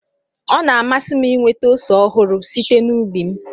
Ọ na-amasị m inweta ose ọhụrụ site n'ubi m